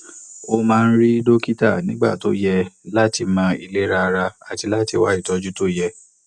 ó máa ń rí dókítà nígbà tó yẹ láti mọ ìlera ara àti wá ìtọjú tó yẹ